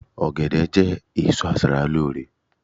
ogede je èso aṣara lore